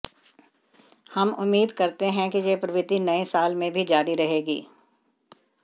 हम उम्मीद करते हैं कि यह प्रवृत्ति नए साल में भी जारी रहेगी